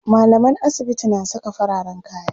mallaman asibiti na Saka fararen kaya